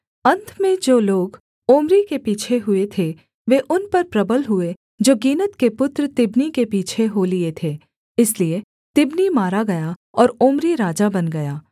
अन्त में जो लोग ओम्री के पीछे हुए थे वे उन पर प्रबल हुए जो गीनत के पुत्र तिब्नी के पीछे हो लिए थे इसलिए तिब्नी मारा गया और ओम्री राजा बन गया